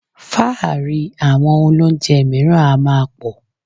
Fáàrí àwọn olóunjẹ mìíràn a máa pọ̀